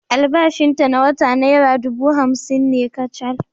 Albashinta na wata nera dubu hamsin ne kacal.